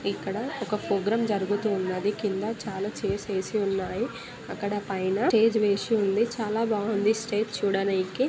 ఇక్కడ ఒక ప్రోగ్రాం జరుగుతూ ఉన్నది. కింద చాలా చైర్స్ ఏసి ఉన్నాయి. అక్కడ పైన స్టేజ్ వేసి ఉంది. చాలా బాగుంది.